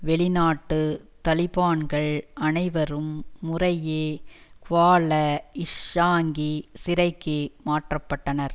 வெளிநாட்டு தலிபான்கள் அனைவரும் முறையே குவால இசாங்கி சிறைக்கு மாற்றப்பட்டனர்